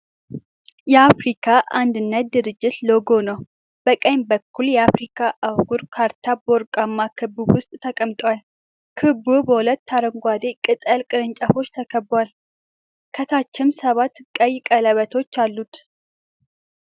የአፍሪካ አንድነት ድርጅት ሎጎ ነው። በቀኝ በኩል፣ የአፍሪካ አህጉር ካርታ በወርቃማ ክብ ውስጥ ተቀምጧል። ክቡ በሁለት የአረንጓዴ ቅጠል ቅርንጫፎች ተከቧል፣ ከታችም ሰባት ቀይ ቀለበቶች አሉ።